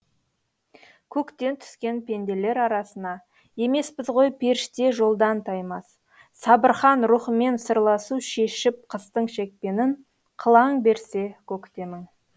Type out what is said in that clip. көктен түскен пенделер арасына емеспіз ғой періште жолдан таймас сабырхан рухымен сырласу шешіп қыстың шекпенін қылаң берсе көктемің